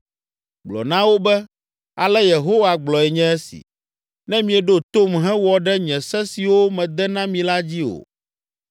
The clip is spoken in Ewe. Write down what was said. Gblɔ na wo be: ‘Ale Yehowa gblɔe nye esi: Ne mieɖo tom hewɔ ɖe nye se siwo mede na mi la dzi o,